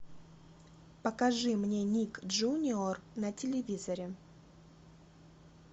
покажи мне ник джуниор на телевизоре